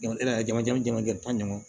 Jamana jama jama jamajɛ tan ɲɔgɔn